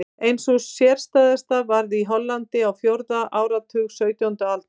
Ein sú sérstæðasta varð í Hollandi á fjórða áratug sautjándu aldar.